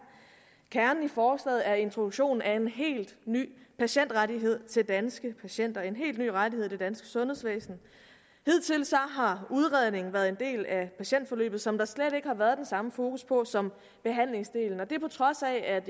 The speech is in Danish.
kernen i forslaget er introduktionen af en helt ny patientrettighed til danske patienter en helt ny rettighed i det danske sundhedsvæsen hidtil har udredningen været en del af patientforløbet som der slet ikke har været den samme fokus på som behandlingsdelen og det på trods af at